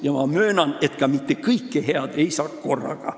Ja ma möönan, et kõike head ei saa ka mitte korraga.